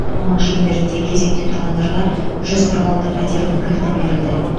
оның шеңберінде кезекте тұрғандарға жүз қырық алты пәтердің кілті берілді